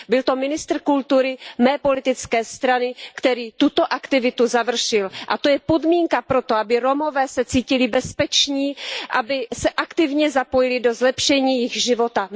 Byl to ministr kultury mé politické strany, který tuto aktivitu završil, a to je podmínka pro to, aby se Romové cítili bezpeční, aby se aktivně zapojili do zlepšení jejich života.